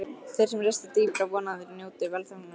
Þeir sem rista dýpra vona að þeir njóti velþóknunar guðanna.